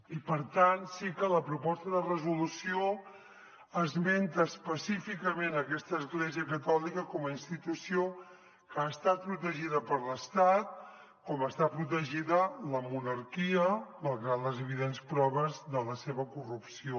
i per tant sí que la proposta de resolució esmenta específicament aquesta església catòlica com a institució que està protegida per l’estat com està protegida la monarquia malgrat les evidents proves de la seva corrupció